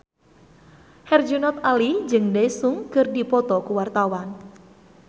Herjunot Ali jeung Daesung keur dipoto ku wartawan